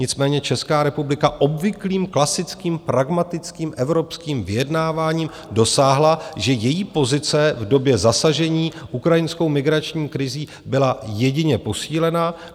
Nicméně Česká republika obvyklým klasickým pragmatickým evropským vyjednáváním dosáhla, že její pozice v době zasažení ukrajinskou migrační krizí byla jedině posílena.